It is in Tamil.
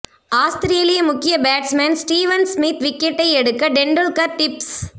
ஆஸ்திரேலிய முக்கிய பேட்ஸ்மேன் ஸ்டீவன் ஸ்மித் விக்கெட்டை எடுக்க டெண்டுல்கர் டிப்ஸ்